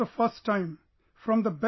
For first time, best